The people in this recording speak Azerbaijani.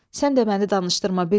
Sən də məni danışdırma bildin?